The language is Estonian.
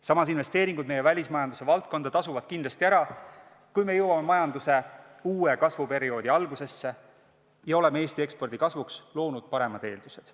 Samas, investeeringud meie välismajanduse valdkonda tasuvad kindlasti ära, kui me jõuame majanduse uue kasvuperioodi algusesse ja oleme Eesti ekspordi kasvuks loonud paremad eeldused.